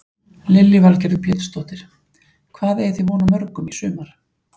Lillý Valgerður Pétursdóttir: Hvað eigið þið von á mörgum í sumar?